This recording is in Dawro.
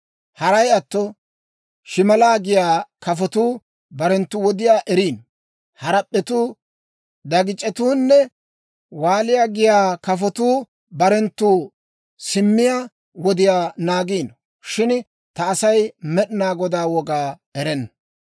Haray atto, shimalaa giyaa kafotuu barenttu wodiyaa eriino; harap'p'etuu, dagic'etuunne waaliyaa giyaa kafotuu barenttu simmiyaa wodiyaa naagiino; shin ta asay Med'inaa Godaa wogaa erenna.